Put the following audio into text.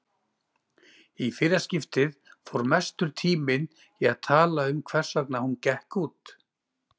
Í fyrra skiptið fór mestur tíminn í að tala um hversvegna hún gekk út.